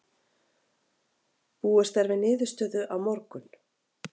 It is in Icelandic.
Búist er við niðurstöðu á morgun.